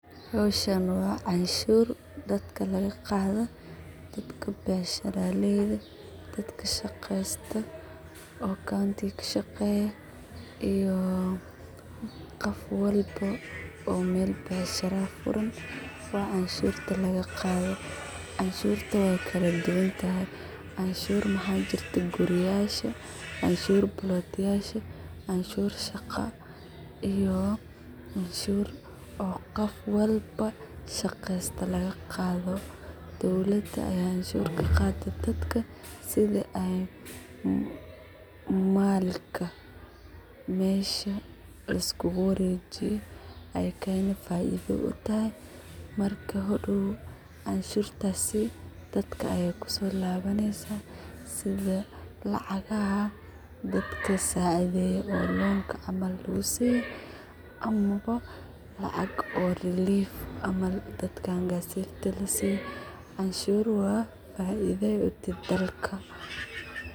Hawshan waa canshuur daadka lagadho daadka bacsharaleyda, daadka shageesta oo county ga kashageyo iyo qoof walbo oo meel bacshara aah uu furaan oo canshurta laga qaadho. Canshurta way kala duwaan tahay; canshuur awaxa jirto quri yasha, canshuur plot yaasha canshuur shaqa iyo canshur oo qof walba shaqesta laga qaadho dawlada aya canshurta kaqaado daadka sidha ay malka mesha laisogu warejiyo ay faidha u tahay. Marka hadaw canshurtasi daadka ay kusolawaneysa sidha lacagaha daadka sacidheyo oo loan ka camal lagusiyo ama lacaq oo leave ama dadkan gazette ka lasiyo. Canshuur waa faidhoda daalka.